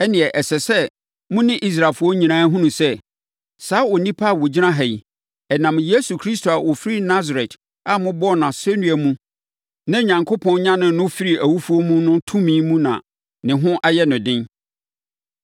ɛnneɛ ɛsɛ sɛ mo ne Israelfoɔ nyinaa hunu sɛ, saa onipa a ɔgyina ha yi, ɛnam Yesu Kristo a ɔfiri Nasaret a mobɔɔ no asɛnnua mu na Onyankopɔn nyanee no firii awufoɔ mu no tumi mu na ne ho ayɛ no den.”